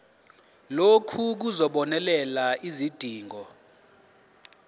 lokhu kuzobonelela izidingo